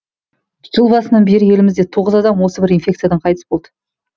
жыл басынан бері елімізде тоғыз адам осы бір инфекциядан қайтыс болды